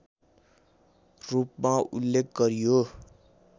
रूपमा उल्लेख गरियो